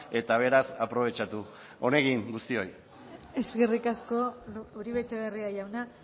eta beraz aprobetxatu on egin guztioi eskerrik asko uribe etxebarria jauna